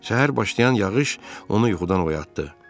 Səhər başlayan yağış onu yuxudan oyatdı.